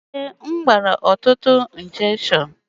Èé, m gbara ntụtụ